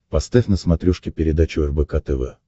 поставь на смотрешке передачу рбк тв